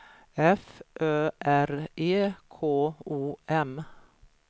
F Ö R E K O M